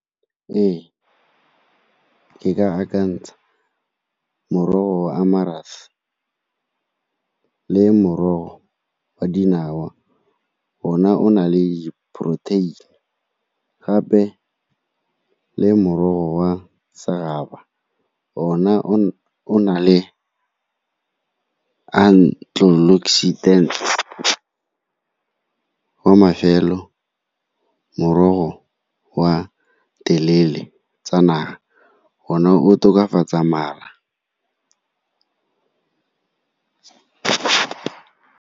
Ee, ke ka akantsha morogo a le morogo wa dinawa ona o na le protein-e. Gape le morogo wa , ona o na le . Wa mafelo morogo wa delele tsa naga, one o tokafatsa mala.